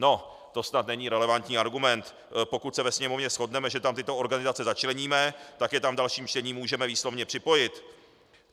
No to snad není relevantní argument, pokud se ve Sněmovně shodneme, že tam tyto organizace začleníme, tak je tam v dalším čtení můžeme výslovně připojit.